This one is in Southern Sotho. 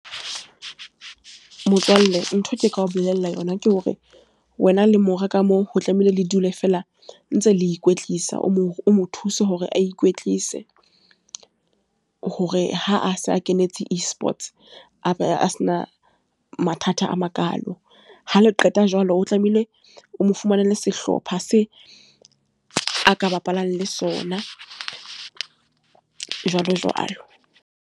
Motswalle, ntho nka o bolella yona ke hore, wena le mora ka moo. Ho tlamehile le dule fela ntse le ikwetlisa. O mo, o mo thuse hore a ikwetlise. Hore ha a se a kenetse eSports, a be a se na mathata a makalo. Ha le qeta jwalo, o tlamehile o mo fumanele sehlopha se a ka bapalang le sona, jwalo jwalo.